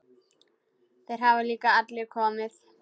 Þeir hafa líka allir komið.